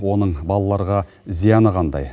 оның балаларға зияны қандай